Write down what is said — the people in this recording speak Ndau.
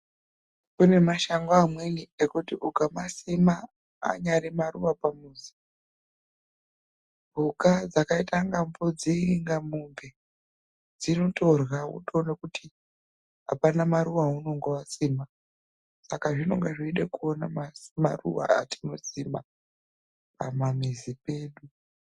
Kune mashango amweni ekuti ukamasima anyari maruva pamuzi, mhuka dzakaita ana mbudzi kana mombe dzinotorya. Wotoona kuti hapana maruva aunonga wasima. Saka zvinonga zvichida kuona maruva atinosima pamamizi pedu.